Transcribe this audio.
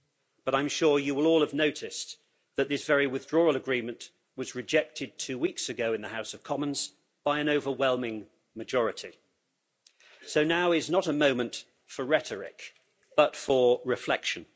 But I'm sure you will all have noticed that this very Withdrawal Agreement was rejected two weeks ago in the House of Commons by an overwhelming majority, so now is not a moment for rhetoric but for reflection.